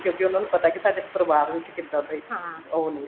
ਕਿਉਂਕਿ ਉਹਨਾ ਨੂੰ ਪਤਾ ਸਾਡੇ ਪਰਿਵਾਰ ਵਿੱਚ ਕਿੱਦਾਂ ਦੇ ਉਹ ਨੇ